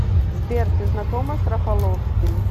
сбер ты знакома с рафаловским